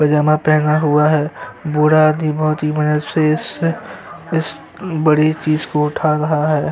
पैजामा पहना हुआ हैं बूढ़ा आदमी बहोत ही मेहनत से इस इस बड़ी चीज को उठा रहा हैं।